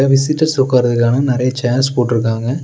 Visitors உக்காரதுக்கான நெறைய chairs போட்ருக்காங்க.